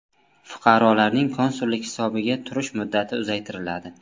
Fuqarolarning konsullik hisobiga turish muddati uzaytiriladi.